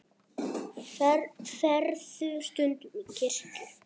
Ferðu stundum í kirkju?